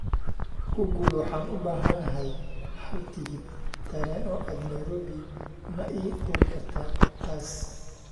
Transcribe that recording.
google waxaan u baahanahay hal tigidh tareen oo aad nairobi ma ii qori kartaa taas